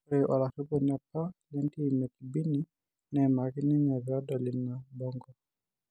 Ore olariponi apa lentim ekibini neimaki ninye peedol ina bango